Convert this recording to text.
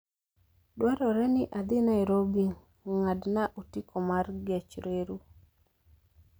dwarore ni adhi nairobi ng'adna otiko mar gech reru